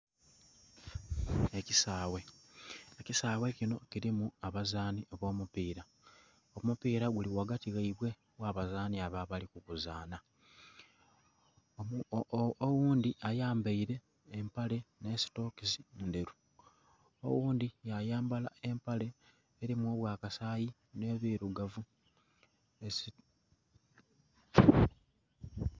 Ekisaawe. Ekisaawe kino kilimu abazaani b'omupiira. Omupiira guli ghagati ghaibwe gha abazaani abo abali kuguzaana. Oghundhi ayambaile empale nh'esitokisi ndheru, oghundhi yayambala empale elimu obwakasayi nh'ebirugavu...